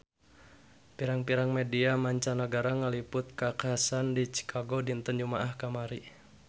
Pirang-pirang media mancanagara ngaliput kakhasan di Chicago dinten Jumaah kamari